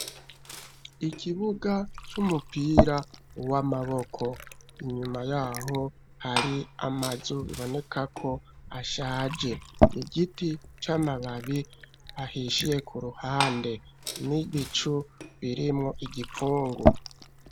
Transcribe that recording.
Ikibuga c'umupira w'amaboko inyuma yaho hari amazu biboneka ko ashaje igiti c'amababi ahishiye ku ruhande n'ibicu birimwo igipfungu.